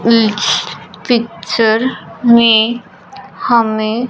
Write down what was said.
is picture में हमें--